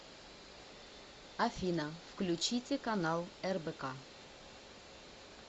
афина включите канал рбк